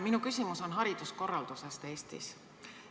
Minu küsimus on hariduskorralduse kohta Eestis.